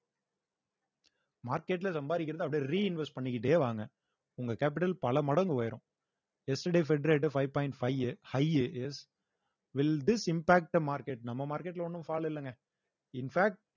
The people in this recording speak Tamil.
market ல சம்பாதிக்கிறதை அப்படியே reinvest பண்ணிக்கிட்டே வாங்க உங்க capital பல மடங்கு உயரும் yesterday fed rate five point five high will this impact the market நம்ம market ல ஒண்ணும் fall இல்லைங்க in fact